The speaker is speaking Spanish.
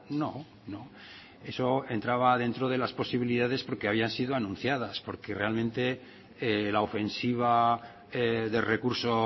no no eso entraba dentro de las posibilidades porque habían sido anunciadas porque realmente la ofensiva de recurso